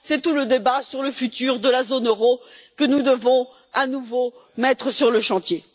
C'est tout le débat sur l'avenir de la zone euro, que nous devons à nouveau mettre sur le chantier.